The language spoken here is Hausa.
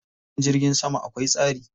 Filin jirgin sama akwai tsari.